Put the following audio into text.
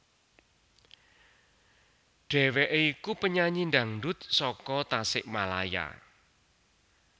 Dheweké iku penyanyi dangdut saka Tasikmalaya